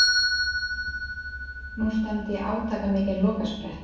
Nú stefndi í átakamikinn lokasprett.